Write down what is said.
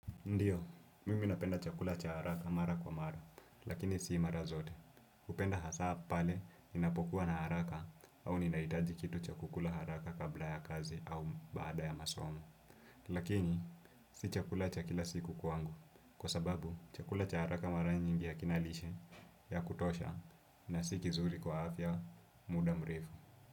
Ndiyo, mimi napenda chakula cha haraka mara kwa mara, lakini sii mara zote. Ninapenda hasaa pale ninapokuwa na haraka au ninahitaji kitu cha kukula haraka kabla ya kazi au baada ya masomo. Lakini, si chakula cha kila siku kwangu, kwa sababu chakula cha haraka mara nyimbi hakina lishe ya kutosha na si vizuri kwa afya muda mrefu.